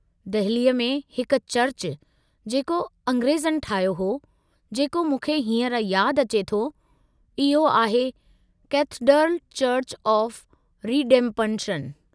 दहिली में हिक चर्च जेको अंग्रेज़नि ठाहियो हो, जेको मूंखे हींअर याद अचे थो, इहो आहे कैथडर्ल चुर्च ऑफ़ रीडेम्पशन।